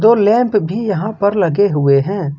दो लैंप भी यहां पर लगे हुए हैं।